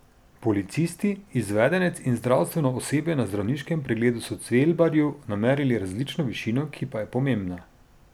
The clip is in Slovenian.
Policisti, izvedenec in zdravstveno osebje na zdravniškem pregledu so Cvelbarju namerili različno višino, ki pa je pomembna.